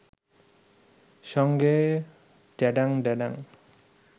সঙ্গে ড্যাডাং ড্যাডাং